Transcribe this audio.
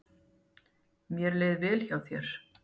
Mér leið vel hjá þér.